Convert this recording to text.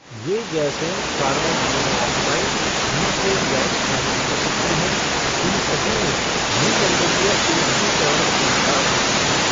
ये गैसें carbon monoxide, methane gas आदि हो सकती हैं, इन सभी में भूमंडलीय ऊष्मीकरण क्षमता होती है।